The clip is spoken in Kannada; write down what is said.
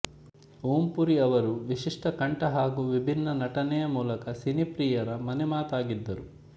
ಓಂ ಪುರಿ ಅವರು ವಿಶಿಷ್ಟ ಕಂಠ ಹಾಗೂ ವಿಭಿನ್ನ ನಟನೆಯ ಮೂಲಕ ಸಿನಿ ಪ್ರಿಯರ ಮನೆ ಮಾತಾಗಿದ್ದರು